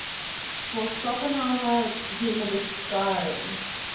for schopenhauer human desiring